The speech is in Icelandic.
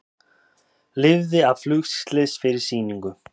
Lifði af flugslys fyrir sýningu